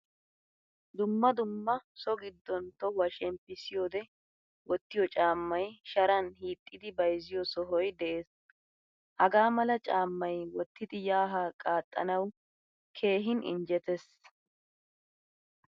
Dumma dumma so giddon tohuwaa shemppisiyode wottiyo caamay shaaran hiixxidi bayzziyo sohoy de'ees. Hagaamala caamay wottidi yaa haa qaxxanawu keehin injjettees.